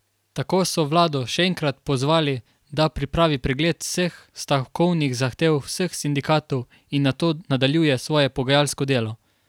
Tako so vlado še enkrat pozvali, da pripravi pregled vseh stavkovnih zahtev vseh sindikatov in nato nadaljuje svoje pogajalsko delo.